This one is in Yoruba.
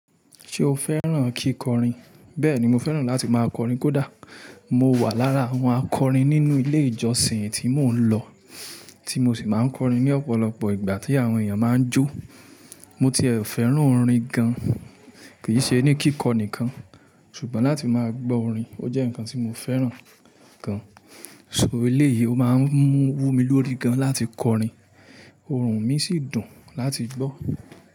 Ṣé o fẹ́ràn kíkọrin? Bẹ́ẹ̀ni, mo fẹ́ràn láti máa kọrin kódà mo wà lára àwọn akọrin nínú ilé ìjọsìn tí mò ń lọ, tí mo sì máa ń kọrin ní ọ̀pọ̀lọpọ̀ ìgbà tí àwọn èèyàn máa ń jó. Mo ti è fẹ́ràn orin gan-an, kì í ṣe ní kíkọ nìkan, ṣùgbọ́n láti máa gbọ́ orin. Ó jẹ́ nǹkan tí mo fẹ́ràn gan-an, so eléyìí, ó máa ń wú mi lórí gan láti kọrin, ọhùn mi sì dùn láti gbọ́.